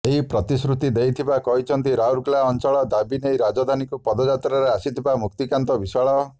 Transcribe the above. ଏହି ପ୍ରତିଶ୍ରୁତି ଦେଇଥିବା କହିଛନ୍ତି ରାଉରକେଲା ଅଂଚଳ ଦାବୀ ନେଇ ରାଜଧାନୀକୁ ପଦଯାତ୍ରାରେ ଆସିଥିବା ମୁକ୍ତିକାନ୍ତ ବିଶ୍ୱାଳ